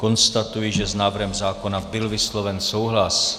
Konstatuji, že s návrhem zákona byl vysloven souhlas.